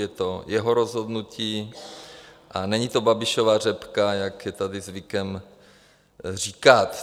Je to jeho rozhodnutí a není to Babišova řepka, jak je tady zvykem říkat.